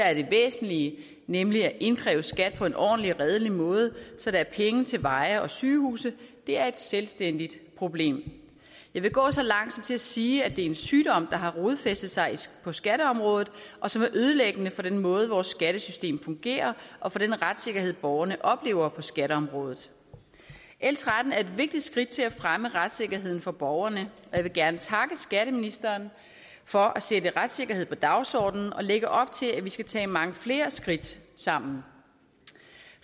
er det væsentlige nemlig at indkræve skat på en ordentlig og redelig måde så der er penge til veje og sygehuse er et selvstændigt problem jeg vil gå så langt som til at sige at det er en sygdom der har rodfæstet sig på skatteområdet og som er ødelæggende for den måde vores skattesystem fungerer og for den retssikkerhed borgerne oplever på skatteområdet l tretten er et vigtigt skridt til at fremme retssikkerheden for borgerne jeg vil gerne takke skatteministeren for at sætte retssikkerhed på dagsordenen og lægge op til at vi skal tage mange flere skridt sammen